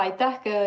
Aitäh!